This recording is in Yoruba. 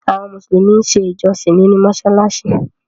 Àwọn musulumi n ṣè ìjọ̀ṣìn nínu mosalasi.